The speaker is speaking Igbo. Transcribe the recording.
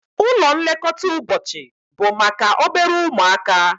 Ụlọ nlekọta ụbọchị bụ maka obere ụmụaka